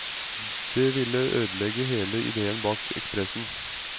Det ville ødelegge hele idéen bak ekspressen.